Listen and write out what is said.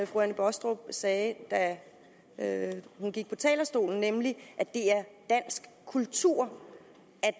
fru anne baastrup sagde da hun gik på talerstolen nemlig at det er dansk kultur